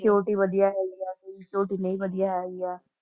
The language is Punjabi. ਵਧੀਆ ਹੈਗੀ ਆ ਕਿਹਦੀ ਨਹੀਂ ਵਧੀਆ ਹੈਗੀ ਆ।